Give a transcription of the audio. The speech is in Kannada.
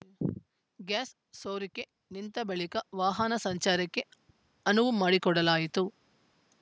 ಗ್ಯಾಸ್‌ ಸೋರಿಕೆ ನಿಂತ ಬಳಿಕ ವಾಹನ ಸಂಚಾರಕ್ಕೆ ಅನುವು ಮಾಡಿಕೊಡಲಾಯಿತು